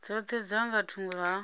dzoṱhe dza nga thungo ha